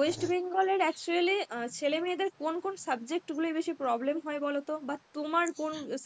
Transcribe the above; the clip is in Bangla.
West Bengal এর actually ছেলে মেয়েদের কোন কোন subject গুলোয় বেশি problem হয় বলতো? বা তোমার কোন